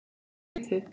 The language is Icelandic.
Þetta er of lítið.